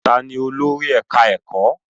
Ta ni olórí ẹ̀ká ẹ̀kọ́?